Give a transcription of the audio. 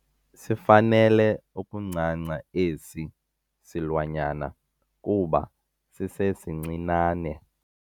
Sifanele ukuncanca esi silwanyana kuba sisesincinane.